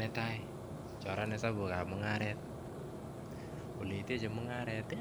Netai choran hlesabukab mungaret ole iteche mungareti